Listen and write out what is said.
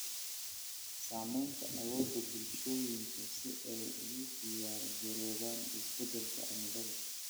Saamaynta awoodda bulshooyinka si ay ugu diyaar garoobaan isbeddelka cimilada.